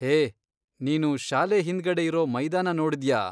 ಹೇ, ನೀನು ಶಾಲೆ ಹಿಂದ್ಗಡೆ ಇರೋ ಮೈದಾನ ನೋಡ್ದ್ಯಾ?